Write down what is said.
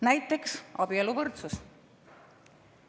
Näiteks abieluvõrdsus.